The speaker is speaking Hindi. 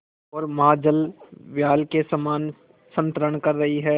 ओर महाजलव्याल के समान संतरण कर रही है